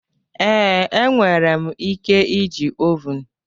Ee, enwere m ike iji ovun.